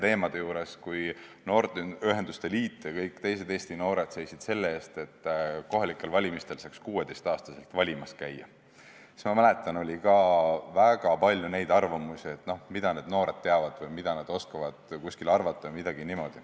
Ma mäletan, et kui noorteühenduste liit ja väga paljud teised Eesti noored seisid selle eest, et kohalikel valimistel saaks 16-aastaseks saanuna valimas käia, siis kõlas väga palju arvamusi, et no mida need noored teavad, mida nad oskavad millegi kohta arvata.